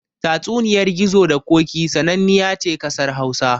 Tatsuniyar Gizo da Ƙoƙi sananniya ce ƙasar Hausa.